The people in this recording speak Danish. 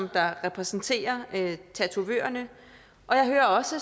repræsenterer tatovørerne og jeg hører også